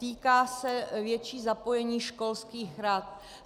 Týká se většího zapojení školských rad.